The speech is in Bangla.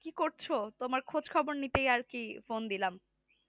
কি করছো তুমার খোঁজ খবর নিতেই আরকি phone দিলাম